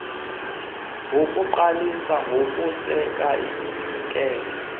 ngokuqalisa nokuseka iminikelo